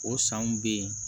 O sanw bɛ yen